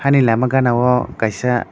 ani lama gana o kaisa.